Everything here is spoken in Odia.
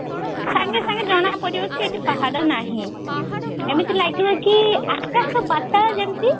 ସାଙ୍ଗେ ସାଙ୍ଗେ ଜଣା ପଡିବ କି ଏଠି ପାହାଡ ନାହିଁ ଏମିତି ଲାଗିବ କି ଆକାଶ ପାତାଳ ଯେମତି